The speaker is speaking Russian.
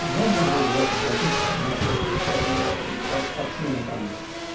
можно было бы вас попросить нас как-то активно там